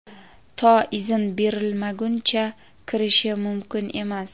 to izn berilmaguncha kirishi mumkin emas.